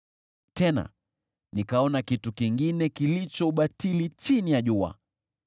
Tena nikaona kitu kingine kilicho ubatili chini ya jua: